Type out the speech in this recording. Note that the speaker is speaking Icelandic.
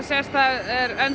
er